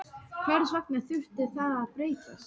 Hvers vegna þurfti það að breytast?